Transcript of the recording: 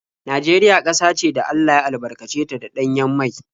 Najeriya ƙasa ce da Allah ya albarkace ta da ɗanyen mai.